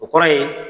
O kɔrɔ ye